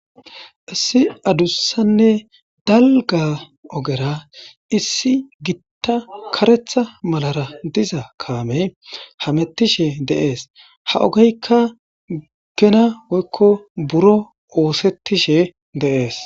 issi adussanne dalga ogera issi gitta karetha malara diza kaamey hamettishe deees ha ogeykka gena woykko buro oosettishe deees